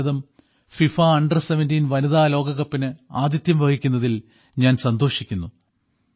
ഭാരതം FIFA under 17 വനിതാ ലോക കപ്പിന് ആതിഥ്യം വഹിക്കുന്നതിൽ ഞാൻ സന്തോഷിക്കുന്നു